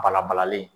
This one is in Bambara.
Bala balalen